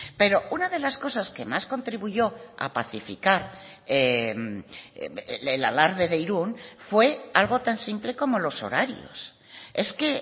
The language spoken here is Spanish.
pero una de las cosas que más contribuyó a pacificar el alarde de irún fue algo tan simple como los horarios es que